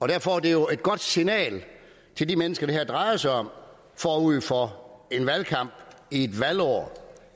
derfor er det jo et godt signal til de mennesker det her drejer sig om forud for en valgkamp i et valgår